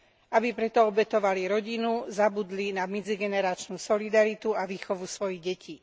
Aby pre to obetovali rodinu, zabudli na medzigeneračnú solidaritu a výchovu svojich detí.